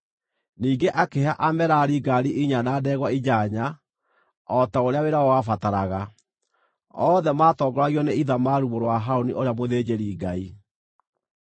ningĩ akĩhe Amerari ngaari inya na ndegwa inyanya, o ta ũrĩa wĩra wao wabataraga. Othe maatongoragio nĩ Ithamaru mũrũ wa Harũni, ũrĩa mũthĩnjĩri-Ngai.